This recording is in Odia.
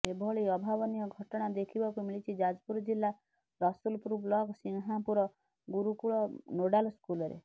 ଏଭଳି ଅଭାବନୀୟ ଘଟଣା ଦେଖିବାକୁ ମିଳିଛି ଯାଜପୁର ଜିଲ୍ଲା ରସୁଲପୁର ବ୍ଲକ ସିଂହାପୁର ଗୁରୁକୁଳ ନୋଡ଼ାଲ ସ୍କୁଲରେ